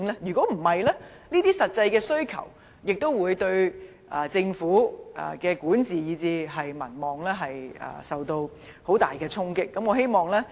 否則，不能滿足市民這些實際的需求，亦會令政府的管治以至民望受到很大的衝擊。